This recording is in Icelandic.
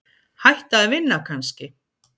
Hætta að vinna kannski?